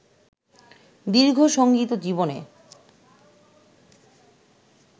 দীর্ঘ সঙ্গীত জীবনে